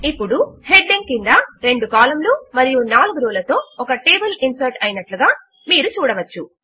ఇప్పుడు హెడింగ్ క్రింద రెండు కాలమ్ లు మరియు నాలుగు రో లతో ఒక టేబుల్ ఇన్సర్ట్ అయినట్లుగా ఇప్పుడు మీరు చూడవచ్చు